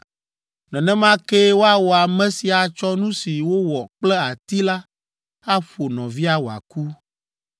Nenema kee woawɔ ame si atsɔ nu si wowɔ kple ati la aƒo nɔvia wòaku.